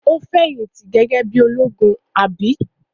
Ó fẹ̀yìntì gege bí i ológun, àbí?